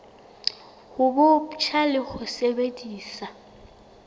bo botjha le ho sebedisa